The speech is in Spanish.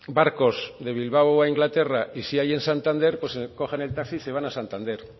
barcos de bilbao a inglaterra y sí hay en santander pues cogen el taxi y se van a santander